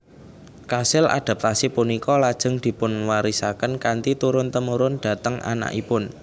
Kasil adaptasi punika lajeng dipunwarisaken kanthi turun temurun dhateng anakipun